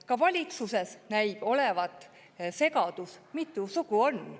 Ka valitsuses näib olevat segadus, mitu sugu on.